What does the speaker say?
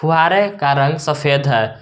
फुहारे का रंग सफेद है।